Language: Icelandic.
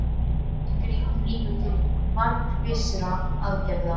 En grípum líka til markvissra aðgerða.